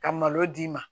Ka malo d'i ma